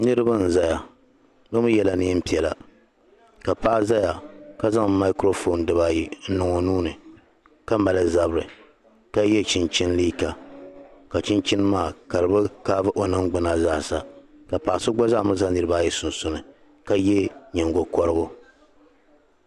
Niriba n zaya bɛ mi yela nɛɛn' piɛla ka paɣa zaya ka zaŋ yeedurigu n niŋ o nuuni ka so chinchini ka di bi toogi o ningbuna zaasa ka paɣi so gba zaa za Niriba sunsuuni ka ye nyingɔkorigu.